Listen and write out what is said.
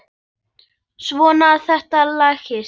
Svona, þetta lagast